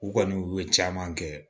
U kɔni u ye caman kɛ